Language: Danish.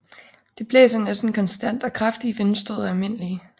Det blæser næsten konstant og kraftige vindstød er almindelige